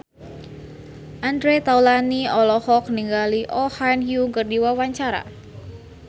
Andre Taulany olohok ningali Oh Ha Young keur diwawancara